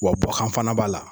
Wa bɔkan fana b'a la